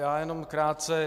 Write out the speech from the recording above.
Já jenom krátce.